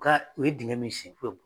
U ka, u ye dingɛ min sen don